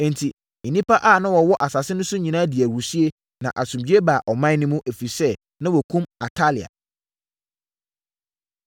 Enti, nnipa a wɔwɔ asase no so nyinaa dii ahurisie, na asomdwoeɛ baa ɔman no mu, ɛfiri sɛ, na wɔakum Atalia.